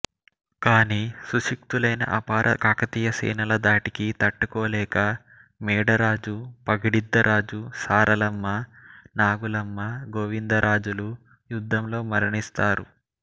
కాని సుశిక్షితులైన అపార కాకతీయ సేనల ధాటికి తట్టుకోలేక మేడరాజు పగిడిద్దరాజు సారలమ్మ నాగులమ్మ గోవింద రాజులు యుద్ధంలో మరణిస్తారు